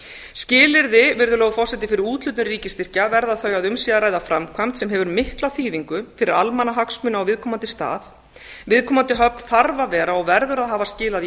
skilyrði virðulegur forseti fyrir úthlutun ríkisstyrkja verða þau að um sé að ræða framkvæmd sem hefur mikla þýðingu fyrir almannahagsmuni á viðkomandi stað viðkomandi höfn þarf að vera og verður að hafa skilað